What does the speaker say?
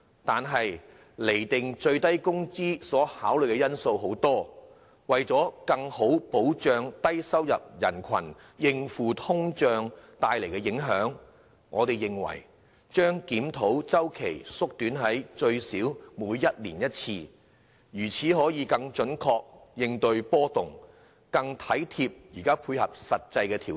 但釐定最低工資水平所考慮的因素有很多，為了更好保障低收入人士應付通脹帶來的影響，我們認為檢討周期應縮短至最少每年一次，以更準確應對經濟波動，作出更貼近現況的實際調整。